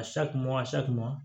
A sakɔnɔ a sakona